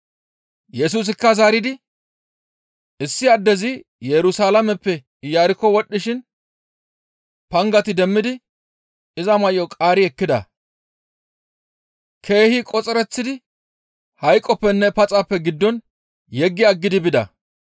Yesusikka zaaridi, «Issi addezi Yerusalaameppe Iyarkko wodhdhishin pangati demmidi iza may7o qaari ekkida; keehi qoxereththidi hayqoppenne paxappe giddon yeggi aggidi bida.